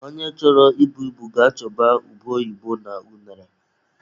Onye chọrọ I bu ibu ga-achọba ube oyibo na unere.